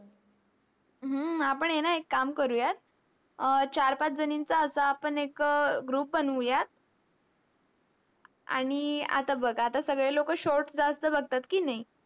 हम्म आपण आहे ना एक काम करूयात. अह चार-पाच जणींचा असा आपण एक group बनवूयात. आणि आता बघ आता सगळे लोक shorts जास्त बघतात की नाही?